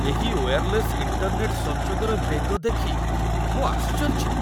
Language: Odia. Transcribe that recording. ଏହି ୱେୟାର୍ଲେସ୍ ଇଣ୍ଟର୍ନେଟ୍‌ ସଂଯୋଗର ବେଗ ଦେଖି ମୁଁ ଆଶ୍ଚର୍ଯ୍ୟ।